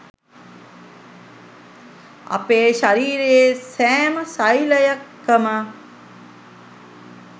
අපේ ශරීරයේ සෑම ෙසෙලයකම